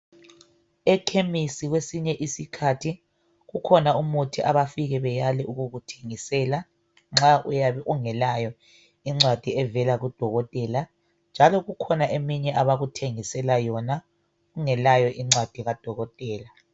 Ekhemisi kwesinye isikhathi kukhona umuthi abafika beyale ukukuthengisela nxa uyabe ungelayo incwadi evela kudokotela. Njalo kukhona eminye abakuthengisela yona ungelayo incwadi kadokotela.